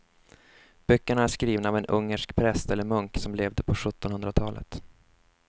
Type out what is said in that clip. Böckerna är skrivna av en ungersk präst eller munk som levde på sjuttonhundratalet.